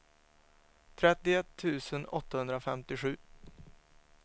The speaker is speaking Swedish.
trettioett tusen åttahundrafemtiosju